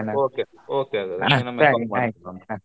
Okay okay ಹಾಗಾದ್ರೆ .